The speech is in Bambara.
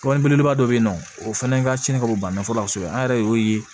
Belebeleba dɔ bɛ yen nɔ o fana ka cɛnni ka bɔ bana nɔfɛ an yɛrɛ de y'o ye